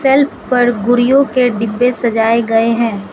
Shelf पर गुड़ियों के डिब्बे सजाए गए हैं।